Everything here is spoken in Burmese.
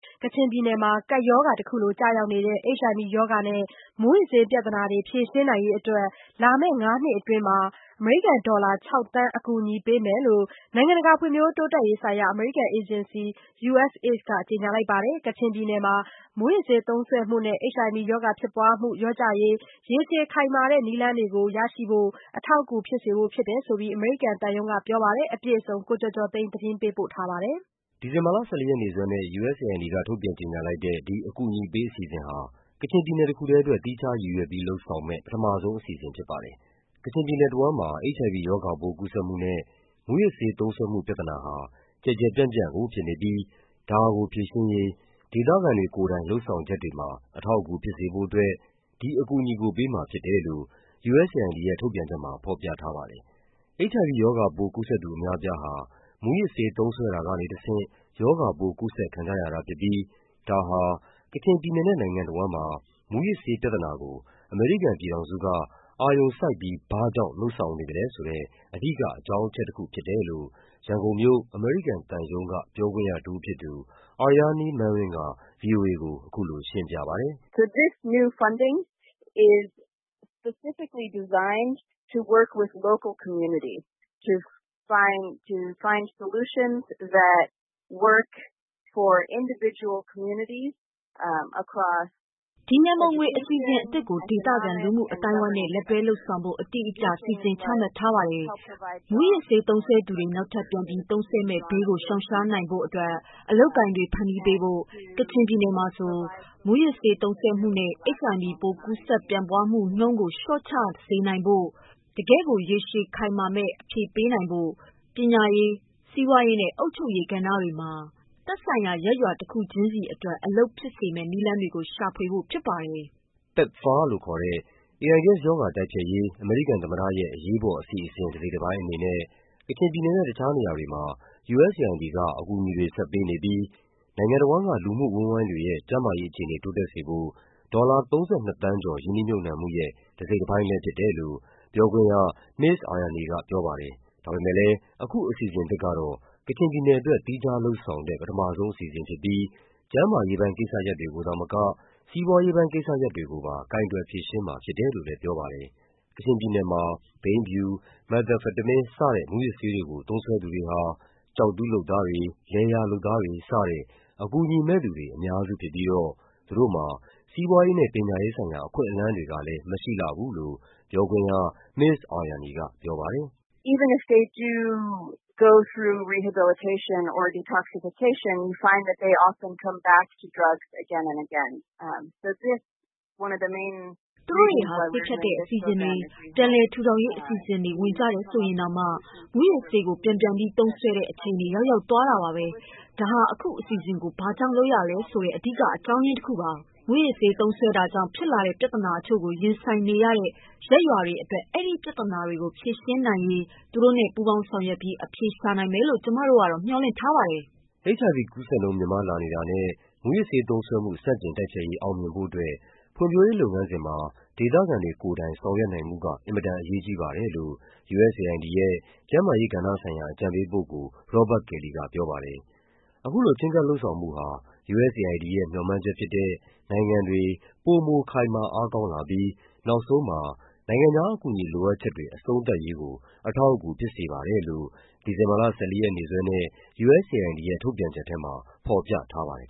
ကချင်ပြည်နယ်မှာ ကပ်ရောဂါလိုကျရောက်နေတဲ့ HIV ရောဂါနဲ့ မူးယစ်ဆေးပြဿနာ ဖြေရှင်းရေးအတွက် လာမယ့်ငါးနှစ်အတွင်း ဒေါ်လာ ၆ သန်း အကူအညီပေးမယ်လို့ နိုင်ငံတကာ ဖွံ့ဖြိုးတိုးတက်ရေးဆိုင်ရာ အမေရိကန်အေဂျင်စီ USAID က ကြေညာပါတယ်။ ကချင်ပြည်နယ်မှာ မူးယစ်ဆေးသုံးစွဲမှုနဲ့ HIV ရောဂါ ဖြစ်ပွားမှု လျော့ကျစေရေး ရေရှည်ခိုင်မာတဲ့ နည်းလမ်းတွေကို ရရှိစေရေး အထောက်အကူဖြစ်စေဖို့ဖြစ်တယ်လို့ ရန်ကုန်မြို့ အမေရိကန်သံရုံးပြောခွင့်ရတဦးက ဗွီအိုအေကို ပြောပါတယ်။ အပြည့်အစုံကို ရန်ကုန်မြို့ကနေ ကိုကျော်ကျော်သိန်းက သတင်းပေးပို့ထားပါတယ်။ ဒီဇင်ဘာလ ၁၄ ရက်နေ့စွဲနဲ့ USAID က ထုတ်ပြန်ကြေညာလိုက်တဲ့ ဒီအကူအညီပေးအစီအစဉ်ဟာ ကချင်ပြည် နယ်တခုတည်းအတွက် သီးခြားရည်ရွယ်ပြီး လုပ်ဆောင်မယ့် ပထမဆုံးအစီအစဉ်ဖြစ်ပါတယ်။ ကချင် ပြည်နယ် တဝန်းမှာ HIV ရောဂါပိုး ကူးစက်မှုနဲ့ မူးယစ်ဆေးသုံးစွဲမှုပြဿနာဟာ ကျယ်ကျယ်ပြန့်ပြန့်ကို ဖြစ်နေပြီး ဒါကို ဖြေရှင်းရေး ဒေသခံတွေကိုယ်တိုင် လုပ်ဆောင် ချက်တွေမှာ အထောက်အကူဖြစ်စေဖို့အတွက် ဒီအကူအညီကို ပေးမှာဖြစ်တယ်လို့ USAID ရဲ့ ထုတ်ပြန်ချက်မှာ ဖော်ပြထားပါတယ်။ HIV ရောဂါပိုး ကူးစက်သူအများအပြားဟာ မူးယစ်ဆေးသုံးစွဲတာကနေတဆင့် ရောဂါပိုးကူးစက်ခံကြရတာ ဖြစ်ပြီး ဒါဟာ ကချင် ပြည်နယ်နဲ့ နိုင်ငံတဝန်းမှာ မူးယစ်ဆေးပြဿနာကို အမေရိကန်ပြည်ထောင်စုက အာရ ုံစိုက်ပြီး ဘာ့ကြောင့် လုပ်ဆောင်နေသလဲ ဆိုတဲ့ အဓိကအကြောင်းအချက်တခုဖြစ်တယ်လို့ ရန်ကုန်မြို့၊ အမေရိကန်သံရုံးက ပြောခွင့်ရတဦးဖြစ်သူ Aryani Manring က ဗွီအိုအေကို အခုလိုရှင်းပြပါတယ်။ “ဒီရန်ပုံငွေအစီအစဉ်အသစ်ကို ဒေသခံလူမှုအဝန်းအဝိုင်းနဲ့ လက်တွဲလုပ်ဆောင်ဖို့ အတိအကျ စီစဉ်ချမှတ်ထား ပါတယ်။ မူးယစ် ဆေးသုံးစွဲသူတွေ နောက်ထပ်ပြန်ပြီး သုံးစွဲမယ့်ဘေးကိုရှောင်နိုင်ရေး အလုပ်အကိုင်တွေ ဖန်တီးပေးဖို့၊ ကချင်ပြည်နယ်မှာ မူးယစ် ဆေးသုံးစွဲမှုနဲ့ HIV ရောဂါပိုး ကူးစက်ပြန့်ပွားမှုနှုန်းကို လျှော့ချနိုင် စေရေး တကယ့်ကို ရေရှည်ခိုင်မာမယ့်အဖြေပေးနိုင်ဖို့ ပညာရေး၊ စီးပွားရေးနဲ့ အုပ်ချုပ်ရေးကဏ္ဍတွေမှာ သက်ဆိုင်ရာ ရပ်ရွာတခုချင်းစီအတွက် အလုပ်ဖြစ်စေမယ့်နည်းလမ်းတွေကို ရှာဖွေဖို့ဖြစ်ပါတယ်။” PEPFAR လို့ခေါ်တဲ့ AIDS ရောဂါတိုက်ဖျက်ရေး အမေရိကန်သမ္မတရဲ့ အရေးပေါ်အစီအစဉ် တစိတ်တပိုင်း အနေနဲ့ ကချင် ပြည်နယ်နဲ့ တခြားနေရာတွေမှာ USAID က အကူအညီတွေဆက်ပေးနေပြီး နိုင်ငံတဝန်းက လူမှုအဝန်းအဝိုင်းတွေရဲ့ ကျန်းမာရေး အခြေအနေတိုးတက်စေဖို့ ဒေါ်လာ ၃၂ သန်းကျော် ရင်းနှီးမြှုပ်နံှမှုရဲ့ တစိတ်တပိုင်းလည်းဖြစ်တယ်လို့ ပြောခွင့်ရ မစ္စ Aryani က ပြောပါတယ်။ ဒါပေမဲ့လည်း အခုအစီအစဉ်သစ်ကတော့ ကချင်ပြည်နယ်အတွက် သီးခြားလုပ်ဆောင်တဲ့ ပထမဆုံးအစီအစဉ် ဖြစ်ပြီး ကျန်းမာရေး ပိုင်းကိစ္စရပ်တွေကိုသာမက စီးပွားရေးပိုင်းကိစ္စရပ်တွေကိုပါ ကိုင်တွယ်ဖြေရှင်းမှာ ဖြစ်တယ် လို့လည်း ပြောပါတယ်။ ကချင်ပြည်နယ်မှာ ဘိန်းဖြူ၊ မက်သ်အမ်ဖက်တမင်း စတဲ့မူးယစ်ဆေးဝါးတွေကို သုံးစွဲသူတွေဟာ ကျောက်တူး လုပ်သားတွေ၊ လယ်ယာလုပ်သားတွေ စတဲ့ အကူအညီမဲ့သူတွေ အများစုဖြစ်ပြီးတော့ သူတို့မှာ စီးပွားရေးနဲ့ ပညာရေးဆိုင်ရာ အခွင့်အလန်းတွေ ကလည်း မရှိလှဘူးလို့ ပြောခွင့်ရ မစ္စ Aryani က ပြောပါတယ်။ “သူတို့တွေဟာ ဆေးဖြတ်တဲ့အစီအစဉ်တွေ၊ ပြန်လည်ထူထောင်ရေးအစီအစဉ်တွေ ဝင်ကြတယ်ဆိုရင်တောင်မှ မူးယစ်ဆေးကို ပြန်ပြန်ပြီး သုံးစွဲကြတဲ့အခြေအနေ ရောက်ရောက်သွားတာပါပဲ။ ဒါဟာ အခုအစီအစဉ်ကို ဘာ့ကြောင့်လုပ်ရတယ်ဆိုတဲ့ အဓိက အကြောင်းတခုဖြစ်ပါတယ်။ မူးယစ်ဆေးသုံးစွဲတာကြောင့် ဖြစ်လာတဲ့ ပြဿနာတချို့ကို ရင်ဆိုင်နေရတဲ့ ရပ်ရွာတွေအတွက် အဲဒီ ပြဿနာတွေကို ဖြေရှင်းနိုင်ရေး သူတို့နဲ့အတူ ပူးပေါင်းပြီး အဖြေရှာနိုင်မယ်လို့ ကျမတို့မျှော်လင့်ပါတယ်။” HIV ကူးစက်နှုန်း မြင့်မားလာနေတာနဲ့ မူးယစ်ဆေးသုံးစွဲမှု ဆန့်ကျင်တိုက်ဖျက်ရေး အောင်မြင်ဖို့အတွက် ဖွံ့ဖြိုးရေးလုပ်ငန်းစဉ်မှာ ဒေသခံတွေကိုယ်တိုင် ဆောင်ရွက်နိုင်မှုက အင်မတန်အရေးကြီးပါတယ်လို့ USAID ရဲ့ ကျန်းမာရေးကဏ္ဍဆိုင်ရာ အကြံပေးပုဂ္ဂိုလ် Robert Kelly ကပြောပါတယ်။ အခုလိုချဉ်းကပ်လုပ်ဆောင်မှုဟာ USAID ရဲ့ မျှော်မှန်းချက်ဖြစ်တဲ့ နိုင်ငံတွေ ပိုမိုခိုင်မာအားကောင်းလာပြီး နောက်ဆုံးမှာ နိုင်ငံခြား အကူအညီလိုအပ်ချက်တွေ အဆုံးသတ်ရေးကို အထောက်အကူဖြစ်စေပါတယ်လို့ ဒီဇင်ဘာလ ၁၄ ရက်နေ့စွဲနဲ့ USAID ရဲ့ ထုတ်ပြန်ချက်ထဲမှာ ဖော်ပြထားပါတယ်